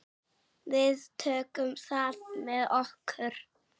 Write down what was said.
Við tökum það með okkur.